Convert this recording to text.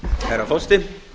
herra forseti